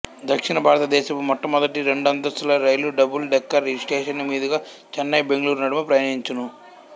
దక్షిణ భారత దేశపు మొట్టమొదటి రెండంతస్తుల రైలు డబుల్ డెక్కర్ ఈ స్టేషను మీదుగా చెన్నైబెంగుళూరు నడుమ ప్రయాణించును